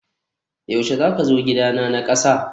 yaushe zaka zo gidana na kasa?